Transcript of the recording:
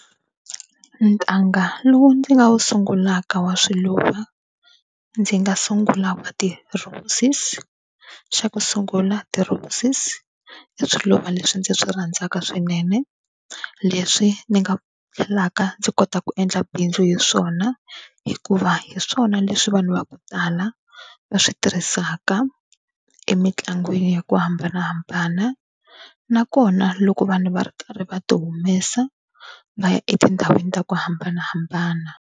Ntanga lowu ndzi nga wu sungulaka wa swiluva ndzi nga sungula wa ti-roses. Xa ku sungula ti-roses i swiluva leswi ndzi swi rhandzaka swinene leswi ni nga tlhelaka ndzi kota ku endla bindzu hi swona, hikuva hi swona leswi vanhu va ku tala va swi tirhisaka emitlangwini ya ku hambanahambana nakona loko vanhu va ri karhi va ti humesa va ya etindhawini ta ku hambanahambana.